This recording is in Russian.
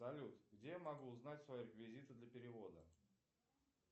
салют где я могу узнать свои реквизиты для перевода